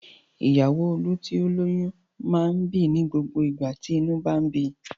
Ìyàwó Olú tí ó lóyún máa ń bì ní gbogbo ìgbà tí inú bá ń bi.